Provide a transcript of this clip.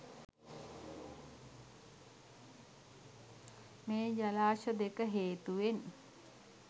මේ ජලාශ දෙක හේතුවෙන්